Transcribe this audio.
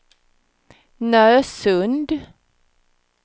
Nösund